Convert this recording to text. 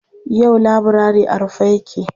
Yau laburare a rufe yake.